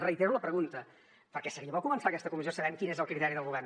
reitero la pregunta perquè seria bo començar aquesta comissió sabent quin és el criteri del govern